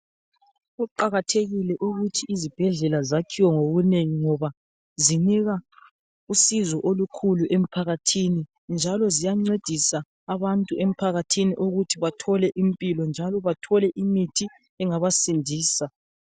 Kuqakathekile ukuthi izibhedlela zakhiwe ngobunengi ngoba zinika usizo olukhulu emphakathini, njalo ziyancedisa abantu emphakathini ukuthi bathole impilo njalo bathole imithi engabasindisa.